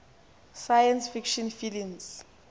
science fiction films